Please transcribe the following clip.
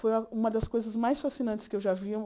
Foi uma uma das coisas mais fascinantes que eu já vi.